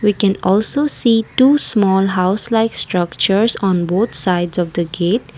we can also see to small house like structures and both sides of the gate.